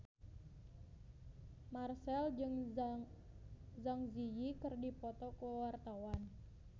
Marchell jeung Zang Zi Yi keur dipoto ku wartawan